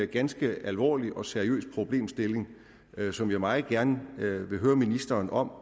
ganske alvorlig og seriøs problemstilling som jeg meget gerne vil høre ministeren om